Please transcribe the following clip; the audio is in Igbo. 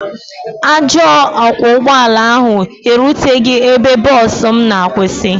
Ajọ ọkwọ ụgbọ ala ahụ eruteghị ebe bọs m na-akwụsị.